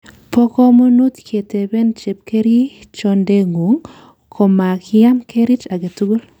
Bo komonut keteben chepkerichondeng'ung' komakiam kerich agetugul.